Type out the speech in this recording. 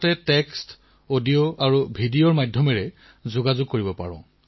সেয়াও text audio আৰু video এই তিনি ধৰণে লাভ কৰিব পাৰে